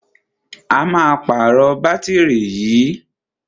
A máa pàrọ̀ bátìrì yìí.